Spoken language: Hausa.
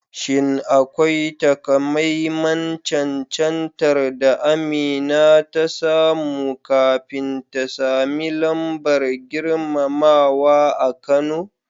Shin akwai takamaiman cancantar da Amina ta samu kafin ta sami lambar girmamawa a Kano?